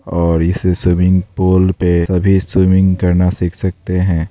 और इस swimming pool पे सभी स्विमिंग करना सीख सकते हैं।